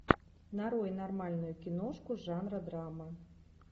нарой нормальную киношку жанра драма